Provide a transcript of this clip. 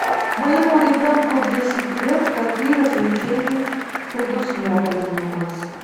моему ребенку десять лет какие развлечения предусмотрены у вас